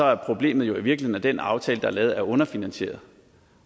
at problemet jo i virkeligheden den aftale der er lavet er underfinansieret